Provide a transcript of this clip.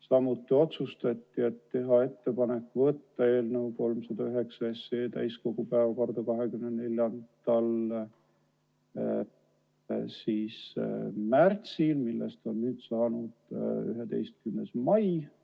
Samuti otsustati teha ettepanek võtta eelnõu 309 täiskogu päevakorda 24. märtsiks, millest on nüüd saanud 11. mai.